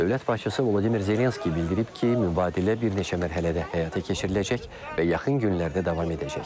Dövlət başçısı Vladimir Zelenski bildirib ki, mübadilə bir neçə mərhələdə həyata keçiriləcək və yaxın günlərdə davam edəcək.